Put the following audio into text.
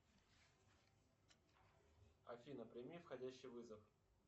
афина прими входящий вызов